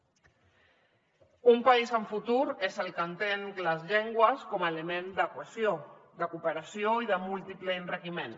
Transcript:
un país amb futur és el que entén les llengües com a element de cohesió de cooperació i de múltiple enriquiment